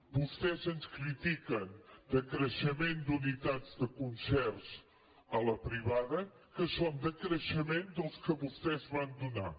vostès ens critiquen de creixement d’unitats de concerts a la privada que són de creixement dels que vostès van donar